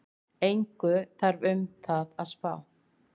Engu þarf um það að spá,